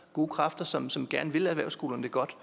gode kræfter som som gerne vil erhvervsskolerne det godt